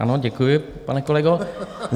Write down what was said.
Ano, děkuji, pane kolego.